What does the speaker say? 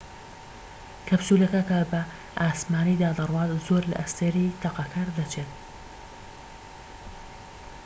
کەپسولەکە کە بە ئاسمانیدا دەڕوات زۆر لە ئەستێرەی تەقەکەر دەچێت